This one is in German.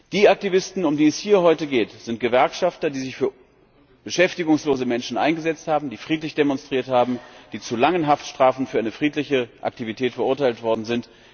Die Aktivisten, um die es hier heute geht, sind Gewerkschafter, die sich für beschäftigungslose Menschen eingesetzt haben, die friedlich demonstriert haben, die zu langen Haftstrafen für eine friedliche Aktivität verurteilt worden sind.